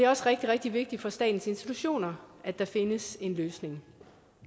også rigtig rigtig vigtigt for statens institutioner at der findes en løsning